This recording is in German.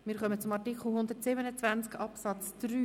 Wir kommen zu Artikel 127 Absatz 3.